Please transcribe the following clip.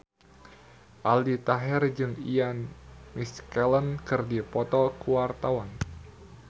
Aldi Taher jeung Ian McKellen keur dipoto ku wartawan